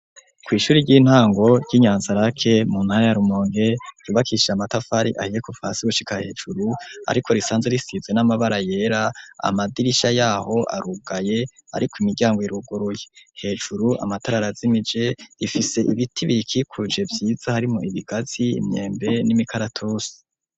Ku ishuri ry'intango ry'inyanza lac mu ntara ya Rumonge yubakishije amatafari ahiye kuva hasi gushika hejuru ariko risanze risizwe n'amabara yera amadirisha yaho arugaye ariko imiryango iruguruye hejuru amatara ara zimije rifise ibiti biyikikuje byiza harimo ibigazi, imyembe, n'imikaratusi.